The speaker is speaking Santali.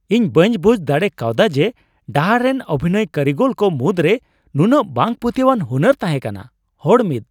ᱤᱧ ᱵᱟᱹᱧ ᱵᱩᱡᱷ ᱫᱟᱲᱮ ᱠᱟᱣᱫᱟ ᱡᱮ ᱰᱟᱦᱟᱨ ᱨᱮᱱ ᱚᱵᱷᱤᱱᱚᱭ ᱠᱟᱹᱨᱤᱜᱚᱞ ᱠᱚ ᱢᱩᱫᱽᱨᱮ ᱱᱩᱱᱟᱹᱜ ᱵᱟᱝ ᱯᱟᱹᱛᱭᱟᱹᱣᱟᱱ ᱦᱩᱱᱟᱹᱨ ᱛᱟᱦᱮᱸ ᱠᱟᱱᱟ᱾ (ᱦᱚᱲ 1)